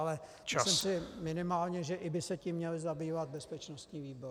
Ale myslím si minimálně, že i by se tím měl zabývat bezpečnostní výbor.